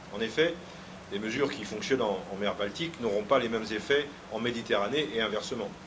En effet, des mesures qui fonctionnent en mer Baltique n'auront pas les mêmes effets en Méditerranée et inversement.